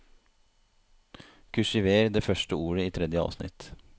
Kursiver det første ordet i tredje avsnitt